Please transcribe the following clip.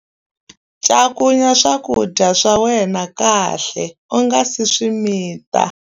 Cakunya swakudya swa wena kahle u nga si swi mita.